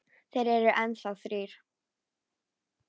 Þeir eru enn þá þrír.